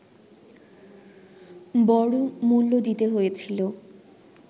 বড় মূল্য দিতে হয়েছিল